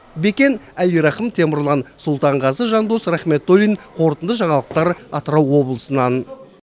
бекен әлирахым темірлан сұлтанғазы жандос рахметуллин қорытынды жаңалықтар атырау облысынан